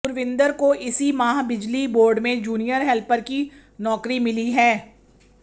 गुरविंद्र को इसी माह बिजली बोर्ड में जूनियर हेल्पर की नौकरी मिली है